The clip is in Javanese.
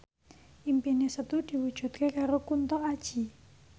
impine Setu diwujudke karo Kunto Aji